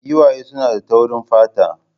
Giwaye suna da taurin fata